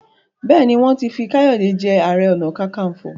béèni wọn tí fí Kayode je aré ọnà kankanfo.